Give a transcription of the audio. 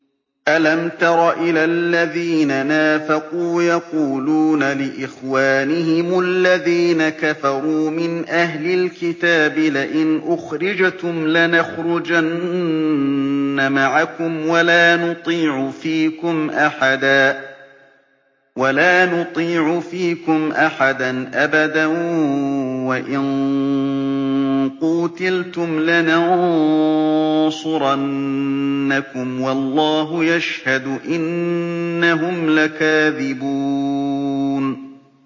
۞ أَلَمْ تَرَ إِلَى الَّذِينَ نَافَقُوا يَقُولُونَ لِإِخْوَانِهِمُ الَّذِينَ كَفَرُوا مِنْ أَهْلِ الْكِتَابِ لَئِنْ أُخْرِجْتُمْ لَنَخْرُجَنَّ مَعَكُمْ وَلَا نُطِيعُ فِيكُمْ أَحَدًا أَبَدًا وَإِن قُوتِلْتُمْ لَنَنصُرَنَّكُمْ وَاللَّهُ يَشْهَدُ إِنَّهُمْ لَكَاذِبُونَ